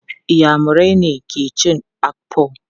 Inyamurai ne ke cin Akpu.